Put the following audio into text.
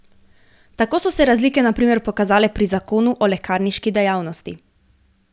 Tako so se razlike na primer pokazale pri zakonu o lekarniški dejavnosti.